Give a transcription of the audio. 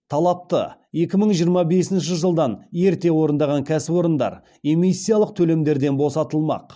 талапты екі мың жиырма бесінші жылдан ерте орындаған кәсіпорындар эмиссиялық төлемдерден босатылмақ